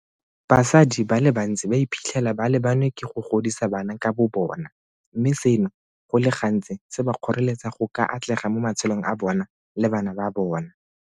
Basadi ba le bantsi ba iphitlhela ba lebanwe ke go godisa bana ka bobona, mme seno go le gantsi se ba kgoreletsa go ka atlega mo matshelong a bona le bana ba bona.